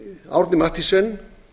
árni mathiesen